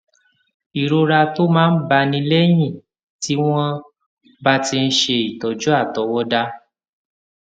ìrora tó máa ń báni léyìn tí wón bá ti ń ṣe ìtójú àtọwọdá